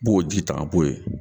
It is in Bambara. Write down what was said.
B'o ji ta ka bɔ ye.